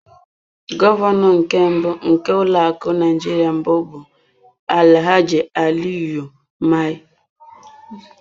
Gọvanọ nke mbụ nke ụlọ akụ Naijiria mbụ bụ Alhaji Aliyu Mai.